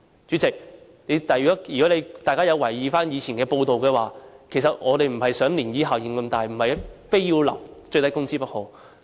主席，如果大家有留意以往的報道，便知道我們並不想漣漪效應這麼大，不是非要訂立最低工資不可。